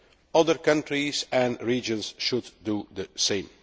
Other countries and regions should do the same.